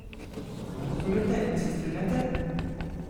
Razumete in se strinjate?